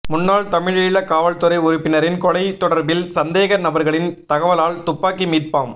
முன்னாள் தமிழீழ காவல்துறை உறுப்பினரின் கொலை தொடர்பில் சந்தேக நபர்களின் தகவலால் துப்பாக்கி மீட்பாம்